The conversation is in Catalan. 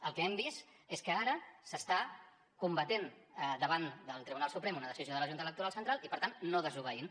el que hem vist és que ara s’està combatent davant del tribunal suprem una decisió de la junta electoral central i per tant no desobeint